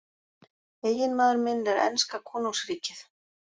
Eiginmaður minn er enska konungsríkið.